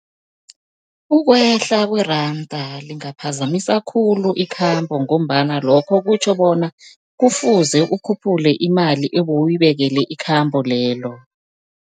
Ukwehla kweranda lingaphazamisa khulu ikhambo, ngombana lokho kutjho bona kufuze ukhuphule imali ebewuyibekele ikhambo lelo.